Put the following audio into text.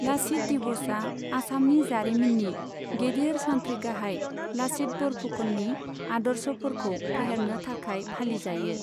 लचित दिवसआ आसामनि जारिमिननि गेदेर सान्थ्रिगाहाय लचित बरफुकननि आदर्शफोरखौ फेहेरनो थाखाय फालिजायो।